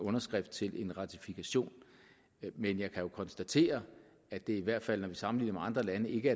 underskrift til en ratifikation men jeg kan jo konstatere at det i hvert fald når vi sammenligner med andre lande ikke